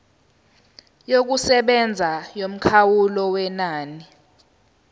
yokusebenza yomkhawulo wenani